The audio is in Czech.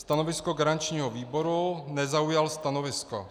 Stanovisko garančního výboru - nezaujal stanovisko.